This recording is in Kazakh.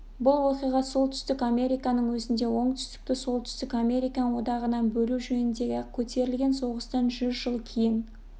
бұл оқиға солтүстік американың өзінде оңтүстікті солтүстік американ одағынан бөлу жөніндегі көтерілген соғыстан жүз жыл кейін